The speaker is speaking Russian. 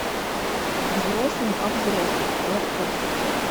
взрослым о взрослых лабковский